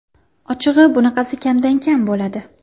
Ochig‘i bunaqasi kamdan kam bo‘ladi.